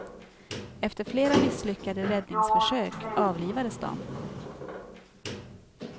Efter flera misslyckade räddningsförsök avlivades de.